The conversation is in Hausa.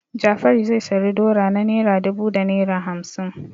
Jafaru zai sayi dora na naira dubu da naira hamsin.